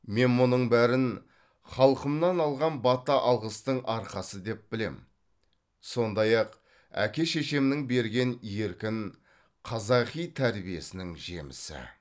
мен мұның бәрін халқымнан алған бата алғыстың арқасы деп білем сондай ақ әке шешемнің берген еркін қазақи тәрбиесінің жемісі